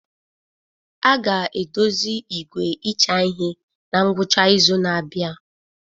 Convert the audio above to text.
A ga-edozi igwe ịcha ihe na ngwụcha izu na-abịa.